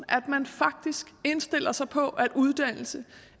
at man faktisk indstiller sig på at uddannelse